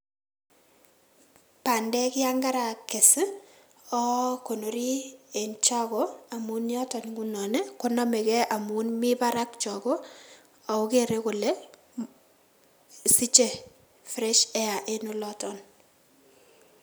Pandek yon karakes ii oo konori en chogo amun yoton ngunon konomegei amun mi barak chogo ogo kere kole siche fresh air en oloton.